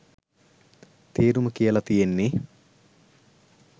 තේරුම කියල තියෙන්නෙ